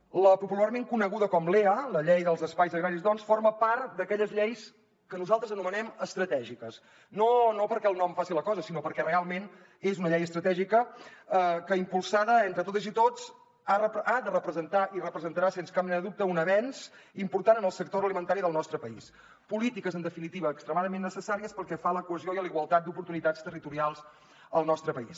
la popularment coneguda com lea la llei dels espais agraris doncs forma part d’aquelles lleis que nosaltres anomenem estratègiques no perquè el nom faci la cosa sinó perquè realment és una llei estratègica que impulsada entre totes i tots ha de representar i representarà sens cap mena de dubte un avenç important en el sector agroalimentari del nostre país polítiques en definitiva extremadament necessàries pel que fa a la cohesió i a la igualtat d’oportunitats territorials al nostre país